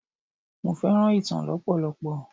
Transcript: Mo fẹ́ràn ìtàn lọpọlọpọ.